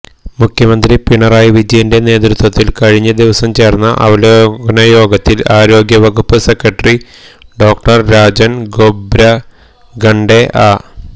മുഖ്യമന്ത്രി പിണറായി വിജയന്റെ നേതൃത്വത്തിൽ കഴിഞ്ഞ ദിവസം ചേർന്ന അവലോകന യോഗത്തിൽ ആരോഗ്യവകുപ്പ് സെക്രട്ടറി ഡോ രാജൻ ഖൊബ്രഗഡെ അ